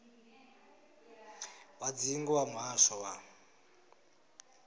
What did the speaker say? wa dzingu wa muhasho wa